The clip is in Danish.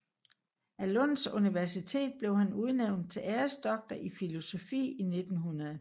Af Lunds Universitet blev han udnævnt til æresdoktor i filosofi i 1900